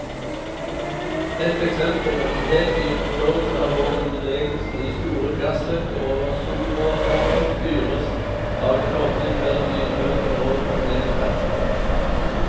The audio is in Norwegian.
Et eksempel er en helt ny forståelse av hvordan bevegelsen i store gassløkker over soloverflaten styres av en kobling mellom lydbølger og magnetfeltet.